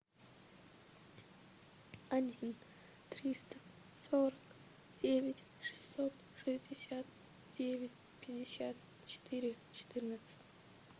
один триста сорок девять шестьсот шестьдесят девять пятьдесят четыре четырнадцать